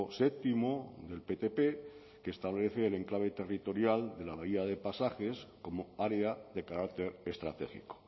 séptimo del ptp que establece el enclave territorial de la bahía de pasajes como área de carácter estratégico